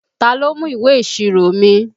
Ta ló mú ìwé ìṣirò mi?